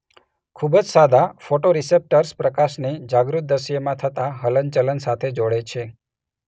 ખૂબ જ સાદા ફોટોરિસેપ્ટર્સ પ્રકાશને જાગૃત દ્રશ્યમાં થતા હલનચલન સાથે જોડે છે.